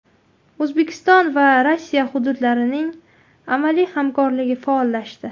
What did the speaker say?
O‘zbekiston va Rossiya hududlarining amaliy hamkorligi faollashdi.